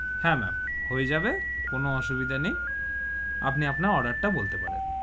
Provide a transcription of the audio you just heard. হা ma'am হয়ে যাবে, কোনো অসুবিধা নেই আপনি আপনার order তা বলতে পারেন.